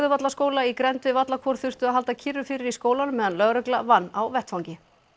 Hörðuvallaskóla í grennd við þurftu að halda kyrru fyrir í skólanum meðan lögregla vann á vettvangi